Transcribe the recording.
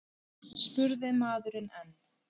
spurði maðurinn enn.